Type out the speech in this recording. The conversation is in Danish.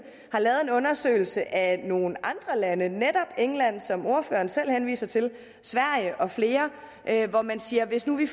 har lavet en undersøgelse af nogle andre lande netop england som ordføreren selv henviser til sverige og flere hvor man siger at hvis vi